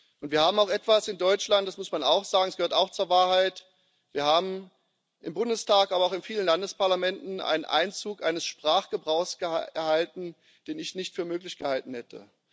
Und wir haben auch etwas in Deutschland das muss man auch sagen, es gehört auch zur Wahrheit Wir haben im Bundestag, aber auch in vielen Landesparlamenten, den Einzug eines Sprachgebrauchs erlebt, den ich nicht für möglich gehalten hätte.